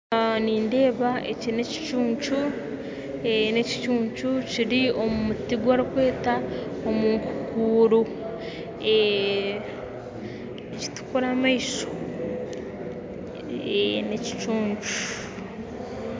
Nindeeba eki n'ekicuncu ekicuncu kiri omu muti ogu barikweta enkukuuru nikitukura amaisho, n'ekicuncu